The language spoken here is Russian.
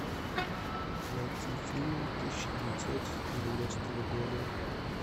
найти фильм тысяча девятьсот девяностого года